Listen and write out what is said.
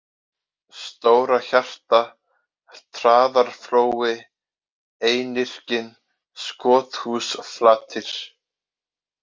Stóra-Hjarta, Traðarflói, Einirkinn, Skothúsflatir